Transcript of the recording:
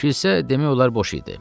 Kilsə demək olar boş idi.